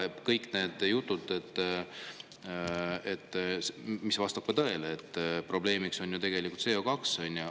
Kõik need jutud, et probleemiks on ju tegelikult CO2 – see vastab tõele.